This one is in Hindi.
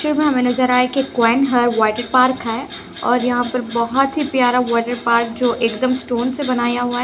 तस्वीर में हमे नजर आ रहा है की क्वीन हार्ट वॉटर पार्क और यहाँ पर बोहोत ही प्यारा वॉटर पार्क जो एकदम स्टोन से बनाया हुवा है।